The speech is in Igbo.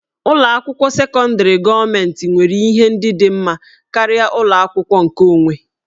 Ụlọ akwụkwọ sekọndrị gọọmentị nwere ihe ndị ka mma karịa ụlọ akwụkwọ nkeonwe